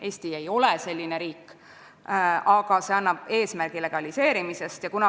Eesti ei ole selline riik, aga see punkt seab legaliseerimise eesmärgi.